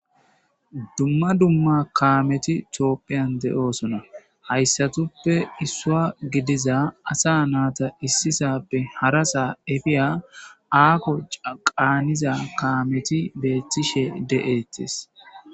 Dumma dumma kaameti Tophiyan de'oosona. Haysatappe issuwa gidiza asa nayta issi sohuwappe hara sohuwa efiya haaho caaniya kaameti beetishe de'etees.